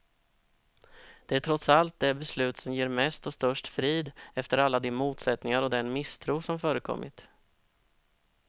Det är trots allt det beslut som ger mest och störst frid, efter alla de motsättningar och den misstro som förekommit.